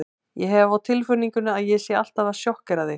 Ég hef á tilfinningunni að ég sé alltaf að sjokkera þig.